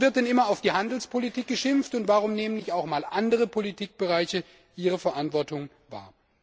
Warum wird denn immer auf die Handelspolitik geschimpft, und warum nehmen nicht auch einmal andere Politikbereiche ihre Verantwortung wahr?